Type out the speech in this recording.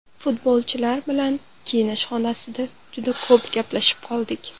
Futbolchilar bilan kiyinish xonasida juda ko‘p gaplashib qoldik.